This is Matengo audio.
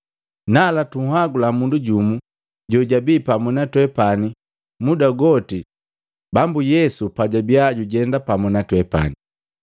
“Nala, tunhagula mundu jumu jojabi pamu na twepani muda goti Bambu Yesu pajabia jujenda pamu na twepani.